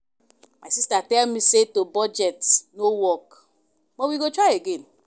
My sister tell me say to budget no work but we go try again